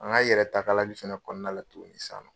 An ka yɛrɛtakali fɛnɛ kɔnɔna la tuguni sisan